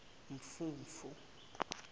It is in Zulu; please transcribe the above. mfumfu